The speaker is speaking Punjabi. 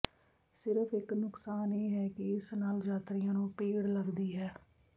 ਸਿਰਫ ਇਕ ਨੁਕਸਾਨ ਇਹ ਹੈ ਕਿ ਇਸ ਨਾਲ ਯਾਤਰੀਆਂ ਨੂੰ ਭੀੜ ਲੱਗਦੀ ਹੈ